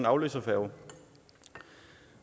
afløserfærge